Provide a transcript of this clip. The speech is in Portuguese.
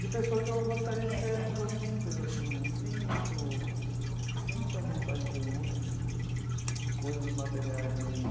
de pessoa que eu gostaria de ser, uma pessoa simples assim né, sem muito sem muita vontade de luxo, de de de coisas materiais mesmo.